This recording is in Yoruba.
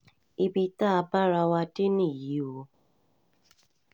ibi tá a bá ara wa dé nìyí o